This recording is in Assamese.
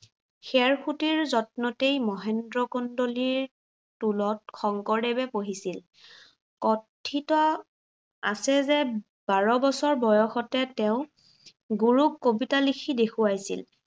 খেৰসূতীৰ যত্নতেই মহেন্দ্ৰ কণ্ডিলৰ টোলত শংকৰদেৱে পঢ়িছিল। কথিত আছে যে বাৰ বছৰ বয়সতে তেওঁ গুৰুক কবিতা লিখি দেখুৱাইছিল।